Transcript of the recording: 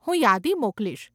હું યાદી મોકલીશ.